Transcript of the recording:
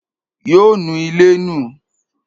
Yóò nu ilé nù.